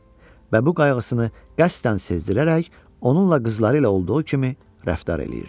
Və bu qayğısını qəsdən sezdirərək, onunla qızları ilə olduğu kimi rəftar eləyirdi.